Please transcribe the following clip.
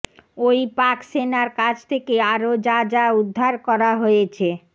ওই পাক সেনার কাছ থেকে আরও যা যা উদ্ধার করা হয়েছে